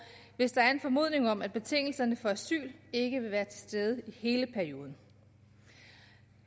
hvis der er en formodning om at betingelserne for asyl ikke vil være til stede i hele perioden